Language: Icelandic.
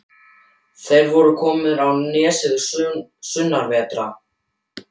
Þeir voru komnir á nesið sunnanvert.